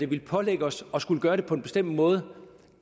ville pålægge os at skulle gøre det på en bestemt måde